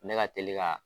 Ne ka teli ka